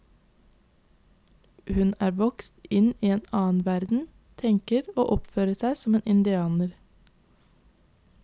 Hun er vokst inn i en annen verden, tenker og oppfører seg som en indianer.